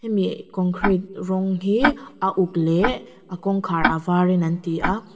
hemi concrete rawng hi a uk leh a kawngkhar a var in an ti a.